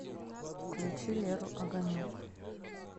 включи леру огонек